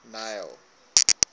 neil